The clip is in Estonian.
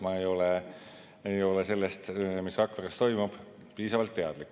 Ma ei ole sellest, mis Rakveres toimub, piisavalt teadlik.